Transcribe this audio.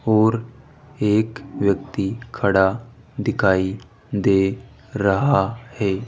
और एक व्यक्ति खड़ा दिखाई दे रहा है।